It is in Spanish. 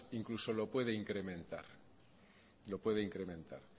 incluso lo puede incrementar